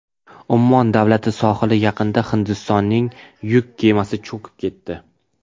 Ummon davlati sohili yaqinida Hindistonning yuk kemasi cho‘kib ketdi.